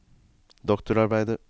doktorarbeidet